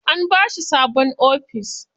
An bashi sabon ofis.